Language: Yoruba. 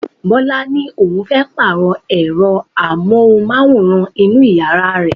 Bọlá ni òun fẹ́ Pààrọ̀ ẹ̀rọ amóhùnmáwòrán inú yàrá òun